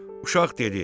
Uşaq dedi: